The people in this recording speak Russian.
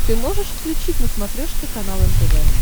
ты можешь включить на смотрешке канал нтв